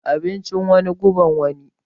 Abincin wani, guban wani.